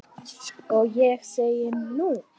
Og ég segi, nú?